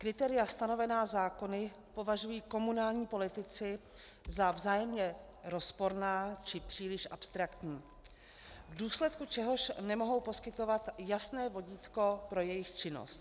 Kritéria stanovená zákony považují komunální politici za vzájemně rozporná či příliš abstraktní, v důsledku čehož nemohou poskytovat jasné vodítko pro jejich činnost.